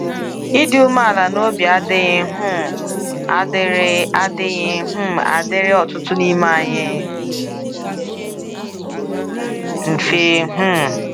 Ịdị umeala n'obi adịghị um adịrị adịghị um adịrị ọtụtụ n'ime anyị mfe. um